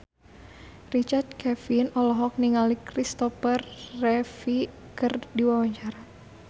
Richard Kevin olohok ningali Kristopher Reeve keur diwawancara